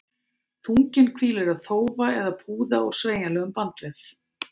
Þunginn hvílir á þófa eða púða úr sveigjanlegum bandvef.